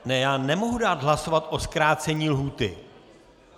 Ne, já nemohu dát hlasovat o zkrácení lhůty.